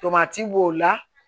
Tomati b'o la